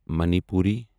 Manipuri